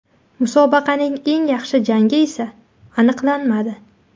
Musobaqaning eng yaxshi jangi esa aniqlanmadi.